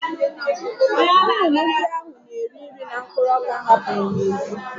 Nnụnụ ndị ahụ na-eri nri na mkpụrụ ọka m hapụrụ n'èzí